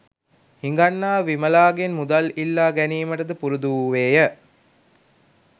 හිඟන්නා විමලාගෙන් මුදල් ඉල්ලා ගැනීමටද පුරුදු වූවේය